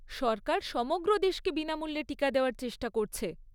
সরকার সমগ্র দেশকে বিনামূল্যে টিকা দেওয়ার চেষ্টা করছে।